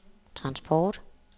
transport